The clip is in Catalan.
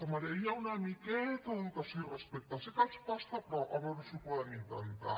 els demanaria una miqueta d’educació i respecte sé que els costa però a veure si ho poden intentar